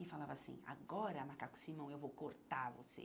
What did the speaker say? E falava assim, agora, Macaco Simão, eu vou cortar você.